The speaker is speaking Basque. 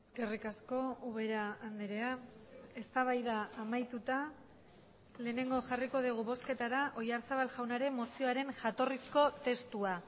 eskerrik asko ubera andrea eztabaida amaituta lehenengo jarriko dugu bozketara oyarzabal jaunaren mozioaren jatorrizko testua